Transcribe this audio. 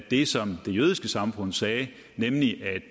det som det jødiske samfund sagde nemlig at